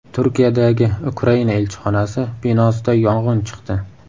Turkiyadagi Ukraina elchixonasi binosida yong‘in chiqdi .